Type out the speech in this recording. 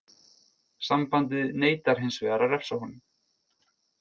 Sambandið neitar hinsvegar að refsa honum.